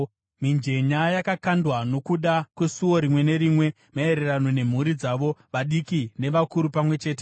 Mijenya yakakandwa nokuda kwesuo rimwe nerimwe, maererano nemhuri dzavo, vadiki nevakuru pamwe chete.